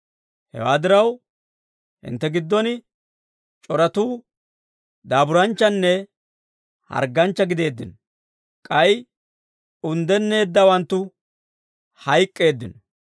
Hewaa diraw, hintte giddon c'oratuu daaburanchchanne hargganchcha gideeddino; k'ay unddenneeddawanttu hayk'k'eeddino.